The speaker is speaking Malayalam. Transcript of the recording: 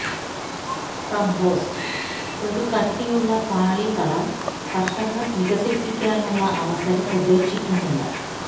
കമ്പോസ്റ്റ് ഒരു കട്ടിയുള്ള പാളി കള കർഷകർ വികസിപ്പിക്കാനുള്ള അവസരം ഉപേക്ഷിക്കുന്നില്ല